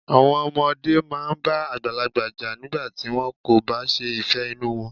Àwọn ọmọdé máa ń bá àgbàlagbà jà nígbà tí wọ́n kò bá ṣe ìfẹ́ inú wọn.